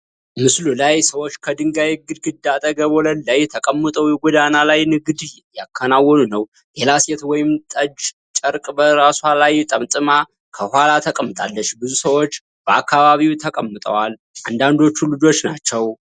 ምስሉ ላይ ሰዎች ከድንጋይ ግድግዳ አጠገብ ወለል ላይ ተቀምጠው የጎዳና ላይ ንግድ እያከናወኑ ነው። ሌላ ሴት ወይን ጠጅ ጨርቅ በራሷ ላይ ጠምጥማ ከጎኗ ተቀምጣለች። ብዙ ሰዎች በአካባቢው ተቀምጠዋል፣ አንዳንዶቹ ልጆች ናቸው።